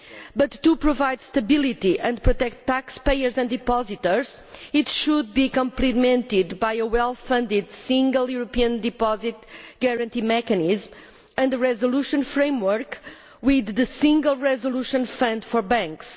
But to provide stability and protect taxpayers and depositors, this should be complemented by a well funded single European deposit guarantee mechanism, and the resolution framework with the single resolution fund for banks.